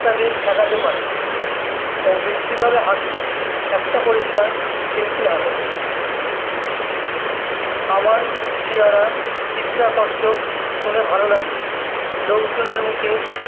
ঠেকাতে পারে পারে ও মিষ্টি ভাবে হাঁসলো একটা পরিষ্কার simple হাঁসি আমার চেহারা চিত্রাকর্ষক শুনে ভালো লাগলো লোকজনের মুখে